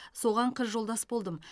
соған қыз жолдас болдым